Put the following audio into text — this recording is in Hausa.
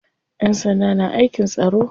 Ƴan sanda na aikin tsaro.